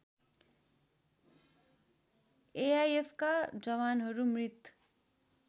एआइएफका जवानहरू मृत